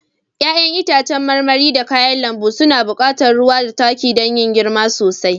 Ya'yan itacen marmari da kayan lambu suna buƙatar ruwa da Taki don girma sosai